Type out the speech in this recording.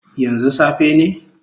Yanzu safe ne?